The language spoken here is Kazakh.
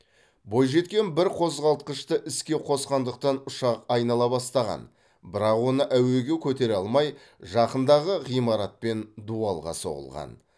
бойжеткен бір қозғалтқышты іске қосқандықтан ұшақ айнала бастаған бірақ оны әуеге көтере алмай жақындағы ғимарат пен дуалға соғылған